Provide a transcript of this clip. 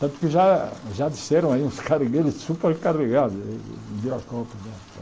Tanto que já já disseram aí uns carregueiros supercarregados em Viracopos, né?